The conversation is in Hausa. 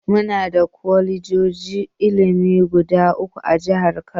Muna da kwalejojin ilimi guda uku a jihar Kano.